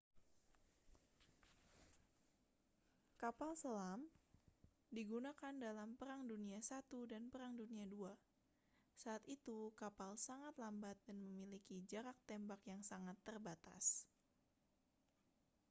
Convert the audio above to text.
kapal selam digunakan dalam perang dunia i dan perang dunia ii saat itu kapal sangat lambat dan memiliki jarak tembak yang sangat terbatas